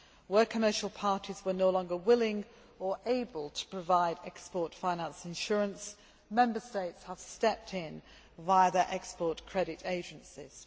Where commercial parties were no longer willing or able to provide export finance insurance, Member States have stepped in via the export credit agencies.